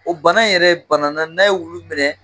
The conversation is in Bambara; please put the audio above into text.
O bana yɛrɛ ye banana n'a ye wulu minɛ